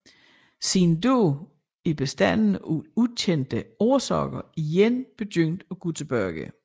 Siden da er bestanden af ukendte årsager igen begyndt at gå tilbage